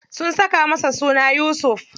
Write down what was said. Sun saka masa suna Yusuf.